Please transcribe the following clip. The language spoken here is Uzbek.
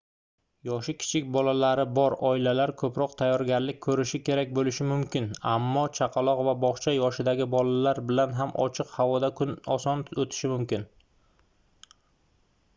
yoshi kichik bolalari bor oilalar koʻproq tayyorgarlik koʻrishi kerak boʻlishi mumkin ammo chaqaloq va bogʻcha yoshidagi bolalar bilan ham ochiq havoda kun oson oʻtishi mumkin